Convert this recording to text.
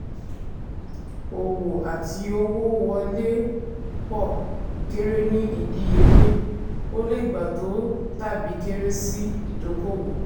òwò àti owó wọlé pọ̀ kéré ní ìdíyelé; o lè gbà to tàbí kéré sí ìdókòwò.